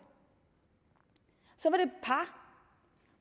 par